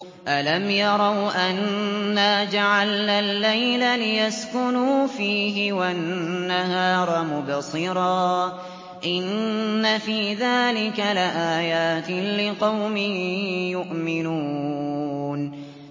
أَلَمْ يَرَوْا أَنَّا جَعَلْنَا اللَّيْلَ لِيَسْكُنُوا فِيهِ وَالنَّهَارَ مُبْصِرًا ۚ إِنَّ فِي ذَٰلِكَ لَآيَاتٍ لِّقَوْمٍ يُؤْمِنُونَ